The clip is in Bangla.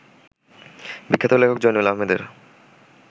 বিখ্যাত লেখক জয়নুল আহমেদের